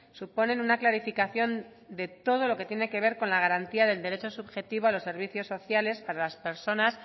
suponen una clarificación de todo lo que tiene que ver con la garantía del derecho subjetivo a los servicios sociales para las personas